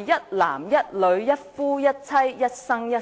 一男一女、一夫一妻及一生一世。